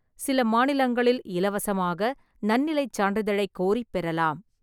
சில மாநிலங்களில் இலவசமாக நன்னிலைச் சான்றிதழை கோரிப் பெறலாம்.